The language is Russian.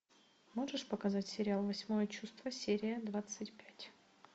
можешь показать сериал восьмое чувство серия двадцать пять